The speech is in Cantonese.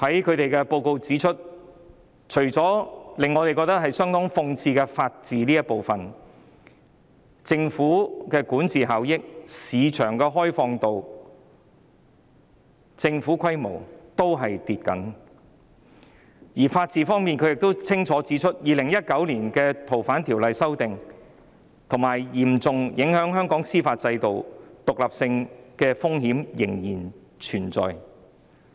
他們的報告指出，除了令我們覺得相當諷刺的法治這部分外，香港在管治效益、市場開放度及政府規模的評分均下跌，而在法治方面，他們亦清楚指出 ，2019 年《逃犯條例》的修訂嚴重危及香港司法獨立的風險仍然存在。